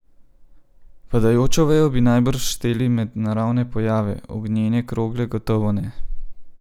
Padajočo vejo bi najbrž šteli med naravne pojave, ognjene krogle gotovo ne.